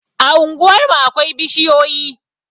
A unguwarmu akwai bishiyoyi